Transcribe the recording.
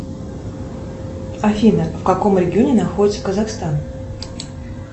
афина в каком регионе находится казахстан